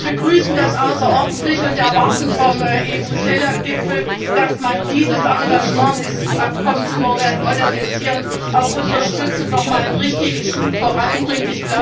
Wir begrüßen das außerordentlich und erwarten vom EU CELAC Gipfel, dass man dieses Engagement, dieses Abkommen zu modernisieren, auch unterstützt und noch mal einen richtigen Schub voranbringt.